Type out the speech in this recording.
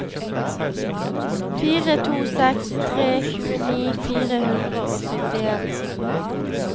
fire to seks tre tjueni fire hundre og syttien